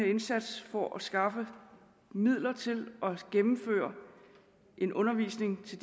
indsats for at skaffe midler til at gennemføre en undervisning til